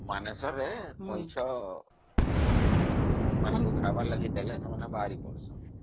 ମାନେସରରେ କଇଁଛ ମାନଙ୍କୁ ଖାଇବାକୁ ଦେଲେ ସିନା ସେମାନେ ବାହାରକୁ ଆସିବେ